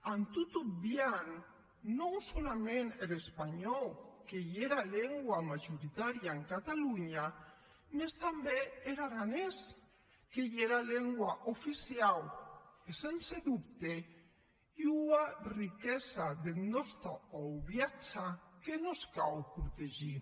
en tot obviant non solaments er espanhòu qu’ei era lengua majoritaria en catalonha mès tanben er aranés qu’ei era lengua oficiau e sense dubte ua riquesa deth nòste auviatge que mos cau protegir